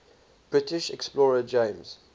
british explorer james